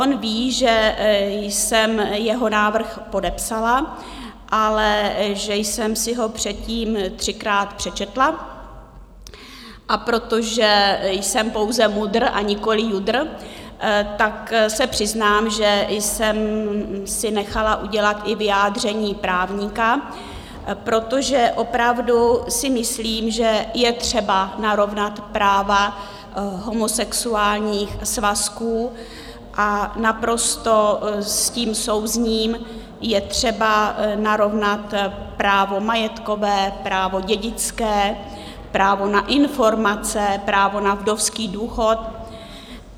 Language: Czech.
On ví, že jsem jeho návrh podepsala, ale že jsem si ho předtím třikrát přečetla, a protože jsem pouze MUDr., a nikoliv JUDr., tak se přiznám, že jsem si nechala udělat i vyjádření právníka, protože opravdu si myslím, že je třeba narovnat práva homosexuálních svazků, a naprosto s tím souzním, je třeba narovnat právo majetkové, právo dědické, právo na informace, právo na vdovský důchod.